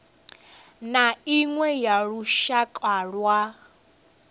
na iṅwe ya lushaka lwa